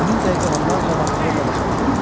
Həmin dəqiqə onlarca adam xorla qışqırdı: